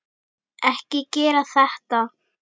Ekki gera þetta.